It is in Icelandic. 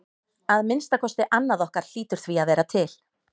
Að minnsta kosti annað okkar hlýtur því að vera til.